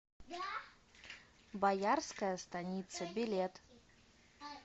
боярская станица билет